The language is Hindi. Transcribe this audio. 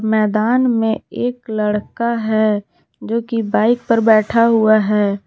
मैदान में एक लड़का है जो की बाइक पर बैठा हुआ है।